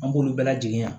An b'olu bɛɛ lajɛlen ye